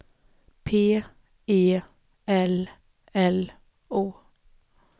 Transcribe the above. P E L L O